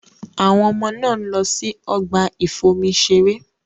Àwọn ọmọ náà ń lọ sí ọgbà ìfomi-ṣeré.